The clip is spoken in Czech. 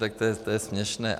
Tak to je směšné.